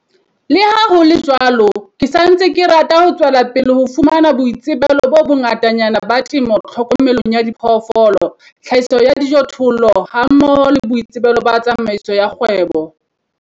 Le ha ho le jwalo, ke sa ntse ke rata ho tswela pele ho fumana boitsebelo bo bongatanyana ba temo tlhokomelong ya diphoofolo, tlhahiso ya dijothollo hammoho le boitsebelo ba tsamaiso ya kgwebo.